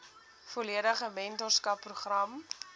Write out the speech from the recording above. volledige mentorskap program